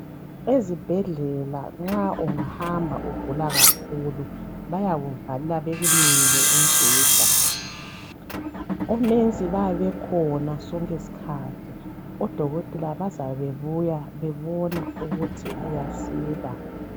Ezibhedlela nxa ungahamba ugulakakhulu bayakuvalela bakunike umbheda omongikazi bayabe bekhona sonke iskhathi odokotela bazabe bebuya bebona ukuthi uyasila.